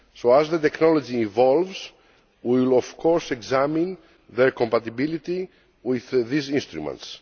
As the technology evolves, we will of course examine their compatibility with these instruments.